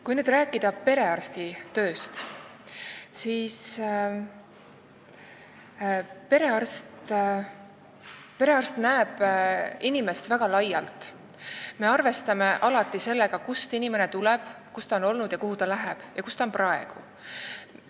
Kui nüüd rääkida perearsti tööst, siis perearst näeb inimest väga laialt – me arvestame alati sellega, kust inimene tuleb, kus ta on olnud, kuhu ta läheb ja kus ta on praegu.